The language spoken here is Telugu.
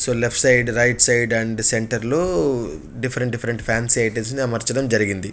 So left side right side and centre లో డిఫరెంట్ డిఫరెంట్ ఫాన్సీ ఐటమ్స్ అమర్చడం జరిగింది.